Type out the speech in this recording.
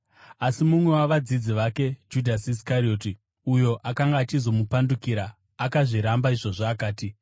Asi mumwe wavadzidzi vake, Judhasi Iskarioti, uyo akanga achizomupandukira, akazviramba izvozvo akati,